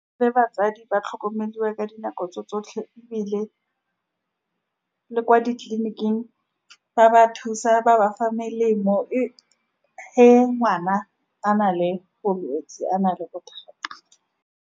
Batsadi ba tlhokomelwa ka dinako tse tsotlhe, ebile le kwa ditleleniking ba ba thusa, ba ba fa melemo. E ge ngwana a na le bolwetsi, a na le bothata.